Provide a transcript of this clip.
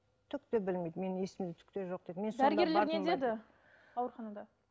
түкте білмейді менің есімде түкте жоқ дейді не деді ауруханада